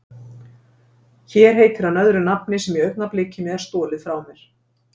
Hér heitir hann öðru nafni sem í augnablikinu er stolið frá mér.